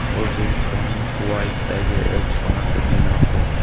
O‘zbekistonning Kuvaytdagi elchixonasi binosi.